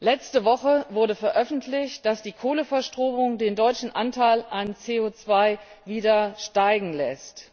Letzte Woche wurde veröffentlicht, dass die Kohleverstromung den deutschen Anteil an CO 2 wieder steigen lässt.